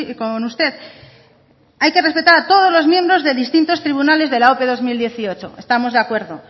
con usted hay que respetar a todos los miembros de distintos tribunales de la ope dos mil dieciocho estamos de acuerdo